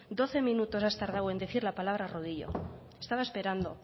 doce minutos has tardado en decir la palabra rodillo estaba esperando